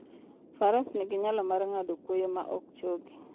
Faras nigi nyalo mar ng'ado kwoyo ma ok chogi.